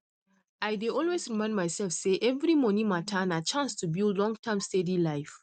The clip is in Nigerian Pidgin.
i dey always remind myself say every money matter na chance to build longterm steady life